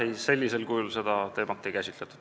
Ei, sellisel kujul seda teemat komisjonis ei käsitletud.